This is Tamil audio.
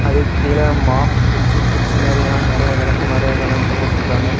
அதுக்கு கீழ மாப் குச்சியும் குச்சி மாதிரி எல்லாம் விளக்குமாறு இதுஎல்லாம் தொங்க விட்டுருக்காங்க.